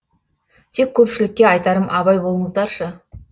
тек көпшілікке айтарым абай болыңыздаршы